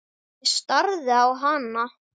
Ég starði á hana.